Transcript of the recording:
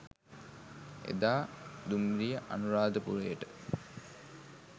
එදා දුම්රිය අනුරාධපුරයට